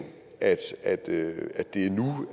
at det